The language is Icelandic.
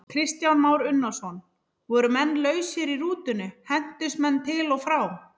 Kristján Már Unnarsson: Voru menn lausir í rútunni, hentust menn til og frá?